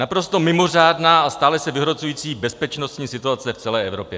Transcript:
Naprosto mimořádná a stále se vyhrocující bezpečnostní situace v celé Evropě.